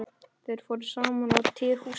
Þeir fóru saman á tehús.